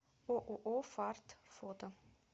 ооо фарт фото